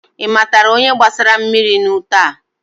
Ị matara onye gbasara mmiri n'ute a?